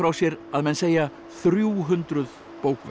sér að menn segja þrjú hundruð